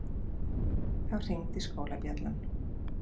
Þá hringdi skólabjallan.